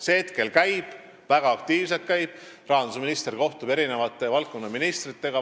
See hetkel käib, väga aktiivselt käib, rahandusminister kohtub valdkonnaministritega.